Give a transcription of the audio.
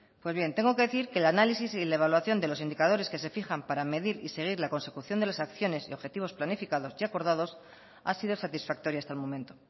pues bien tengo que decir que el análisis y la evaluación de los indicadores que se fijan para medir y seguir la consecución de las acciones y objetivos planificados y acordados ha sido satisfactoria hasta el momento